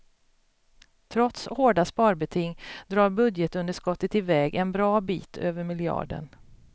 Trots hårda sparbeting drar budgetunderskottet iväg en bra bit över miljarden.